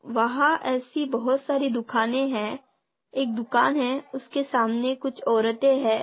वहा ऐसी बहुत सारी दुकाने है एक दुकान है उसके सामने कुछ औरते है।